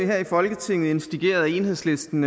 her i folketinget initieret af enhedslisten